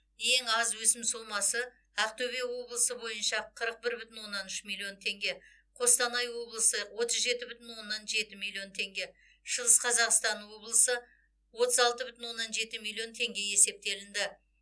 ең аз өсім сомасы ақтөбе облысы бойынша қырық бір бүтін оннан үш миллион теңге қостанай облысы отыз жеті бүтін оннан жеті миллион теңге шығыс қазақстан облысы отыз алты бүтін оннан жеті миллион теңге есептелінді